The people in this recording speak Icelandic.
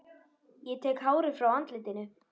Tek hárið frá andlitinu.